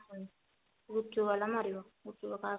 ଗୁପ୍ଚୁପ ବାଲା ମରିଗଲା ଗୁପ୍ଚୁପ ଆଉ କଣ ଆସୁନି